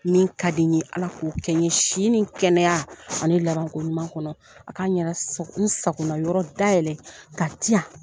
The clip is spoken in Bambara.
Min ka di n ye Ala k'o kɛ n ye sini ni kɛnɛya ani laban ko ɲuman kɔnɔ. A k'an yɛrɛ sago n sagona yɔrɔ dayɛlɛ ka di yan.